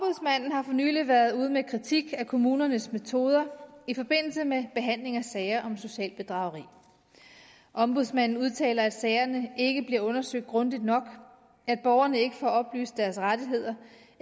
har for nylig været ude med kritik af kommunernes metoder i forbindelse med behandling af sager om socialt bedrageri ombudsmanden udtaler at sagerne ikke bliver undersøgt grundigt nok at borgerne ikke får oplyst deres rettigheder